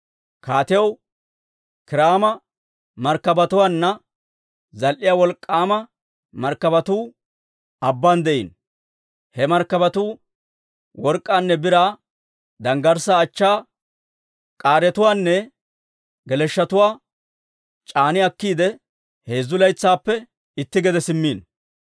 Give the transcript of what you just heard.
Kaatiyaw Kiiraama markkabatuwaanna zal"iyaa wolk'k'aama markkabatuu abbaan de'iino. He markkabatuu work'k'aanne biraa, danggarssaa achchaa, k'aaretuwaanne geleshshotuwaa c'aani akkiide, heezzu laytsaappe itti gede simmiino.